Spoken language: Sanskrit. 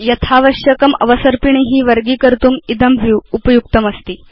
यथावश्यकम् अवसर्पिणी वर्गीकर्तुम् इदं व्यू उपयुक्तमस्ति